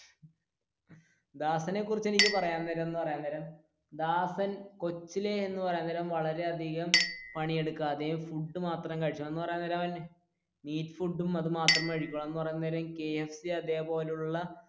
ദാസനെ കുറിച്ച് എനിക്ക് പറയാൻ നേരം എന്ന് പറയാൻ നേരം ദാസൻ കോച്ചിലെ എന്ന് പറയാൻ നേരം വളരെ അധികം പണിയെടുക്കാതെ ഫുഡ് മാത്രം കഴിച്ചു എന്ന് പറയാൻ നേരം മീറ്റ് ഫുഡും അത് മാത്രമേ കഴിക്കൂള് എന്ന് പറയാൻ നേരം KFC അതുപോലെയുള്ള